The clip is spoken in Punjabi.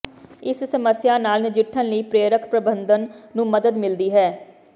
ਇਸ ਸਮੱਸਿਆ ਨਾਲ ਨਜਿੱਠਣ ਲਈ ਪ੍ਰੇਰਕ ਪ੍ਰਬੰਧਨ ਨੂੰ ਮਦਦ ਮਿਲਦੀ ਹੈ